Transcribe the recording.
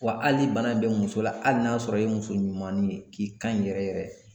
Wa hali ni bana bɛ muso la hali n'a sɔrɔ i ye muso ɲumannin ye ,k'i kan in yɛrɛ yɛrɛ